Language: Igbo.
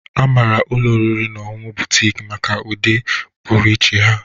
A maara ụlọ oriri na ọṅụṅụ Boutiki maka ụdị pụrụ iche ha.